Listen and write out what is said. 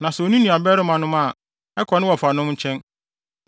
Na sɛ onni nuabarimanom a, ɛkɔ ne wɔfanom nkyɛn.